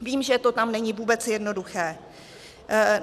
Vím, že to tam není vůbec jednoduché.